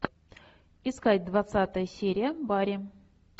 искать двадцатая серия барри